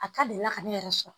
A ka delila ka ne yɛrɛ sɔrɔ